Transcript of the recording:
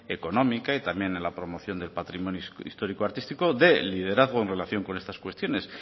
económica y también en la promoción del patrimonio histórico artístico de liderazgo en relación con estas cuestiones